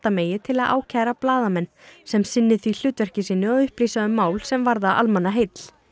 megi til að ákæra blaðamenn sem sinni því hlutverki sínu að upplýsa um mál sem varða almannaheill